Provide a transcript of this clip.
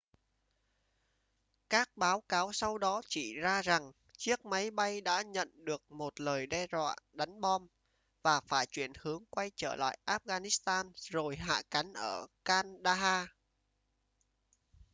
các báo cáo sau đó chỉ ra rằng chiếc máy bay đã nhận được một lời đe doạ đánh bom và phải chuyển hướng quay trở lại afghanistan rồi hạ cánh ở kandahar